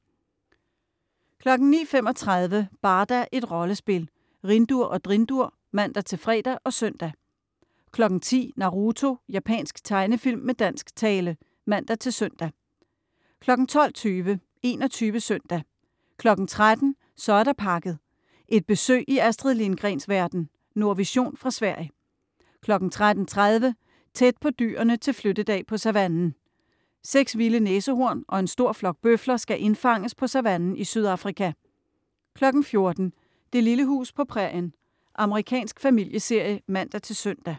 09.35 Barda - et rollespil. Rhindur og Drindur (man-fre og søn) 10.00 Naruto. Japansk tegnefilm med dansk tale (man-søn) 12.20 21 Søndag 13.00 Så er der pakket. Et besøg i Astrid Lindgrens verden. Nordvision fra Sverige 13.30 Tæt på dyrene til flyttedag på savannen. Seks vilde næsehorn og en stor flok bøfler skal indfanges på savannen i Sydafrika 14.00 Det lille hus på prærien. Amerikansk familieserie (man-søn)